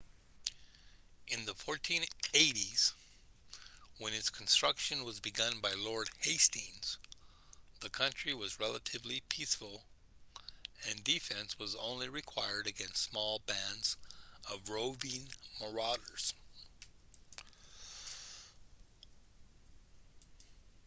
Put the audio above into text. in the 1480s when its construction was begun by lord hastings the country was relatively peaceful and defense was only required against small bands of roving marauders